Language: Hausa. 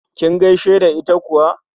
Kin gaishe da ita kuwa?